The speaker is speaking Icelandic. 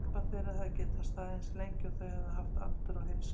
Samband þeirra hefði getað staðið eins lengi og þau hefðu haft aldur og heilsu til.